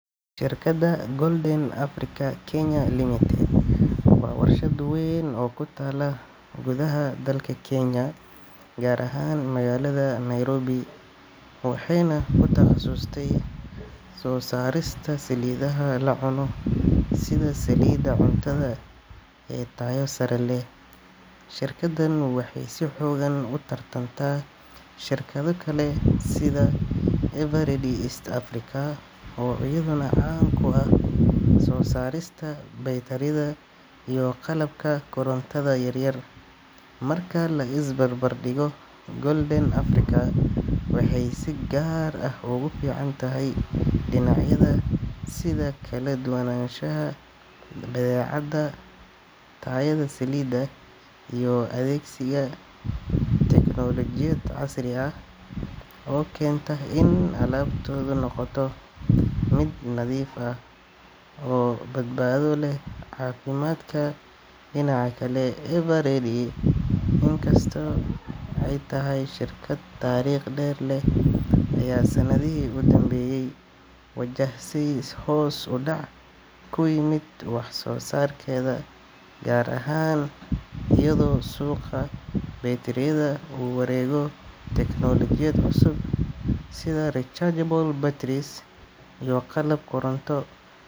Shirkadda Golden Africa Kenya Limited waa warshad weyn oo ku taalla gudaha dalka Kenya, gaar ahaan magaalada Nairobi, waxayna ku takhasustay soo saarista saliidaha la cuno sida saliidda cuntada ee tayo sare leh. Shirkaddan waxay si xooggan u tartantaa shirkado kale sida Eveready East Africa, oo iyaduna caan ku ah soo saarista baytariyada iyo qalabka korontada yar yar. Marka la is barbar dhigo, Golden Africa waxay si gaar ah ugu fiican tahay dhinacyada sida kala duwanaanshaha badeecada, tayada saliidda, iyo adeegsiga tignoolajiyad casri ah oo keenta in alaabtoodu noqoto mid nadiif ah oo badbaado u leh caafimaadka. Dhinaca kale, Eveready inkastoo ay tahay shirkad taariikh dheer leh, ayaa sanadihii u danbeeyay wajahaysay hoos u dhac ku yimid wax soo saarkeeda, gaar ahaan iyadoo suuqa baytariyada uu u wareegayo teknoolajiyad cusub sida rechargeable batteries iyo qalab koronto.